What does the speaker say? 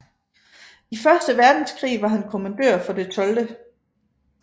I første verdenskrig var han kommandør for det 12